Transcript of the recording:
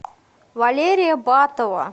валерия батова